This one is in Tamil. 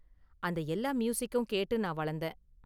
அந்த எல்லா மியூசிக்கும் கேட்டு நான் வளந்தேன்.